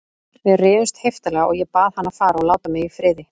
Við rifumst heiftarlega og ég bað hann að fara og láta mig í friði.